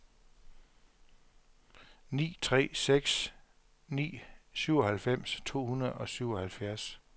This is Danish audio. ni tre seks ni syvoghalvfems to hundrede og syvoghalvfjerds